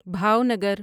Bhavnagar